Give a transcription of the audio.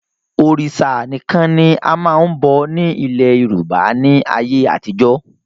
Òrìṣà nìkan ni a máa n bọ̀ ni ilẹ̀ Yorùbá ni ayé àtijọ́